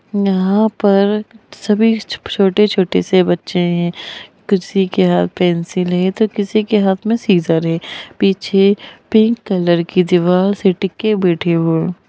यहाँ पर सभी छोटे-छोटे से बच्चे है किसी के हाथ पेंसिल है तो किसी के हाथ में सीजर है पीछे पिंक कलर की दीवार से टिक के बैठे हुए।